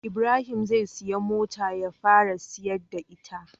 Ibrahim zai siya mota ya fara tasi da ita